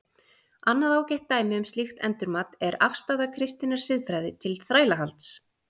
Annað ágætt dæmi um slíkt endurmat er afstaða kristinnar siðfræði til þrælahalds.